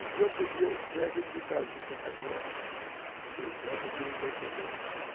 O que eu podia ter acreditado que eu sentar com essa, essa aqui não deve saber, né?